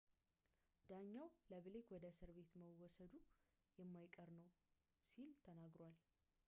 ዳኛው ለብሌክ ወደ እስር ቤት መወሰዱ የማይቀር ነገር ነው ሲል ተናግሮታል